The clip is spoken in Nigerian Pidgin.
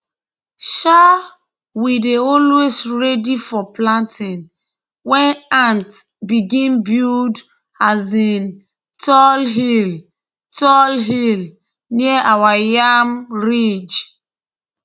um we dey always ready for planting when ants begin build um tall hill tall hill near our yam ridge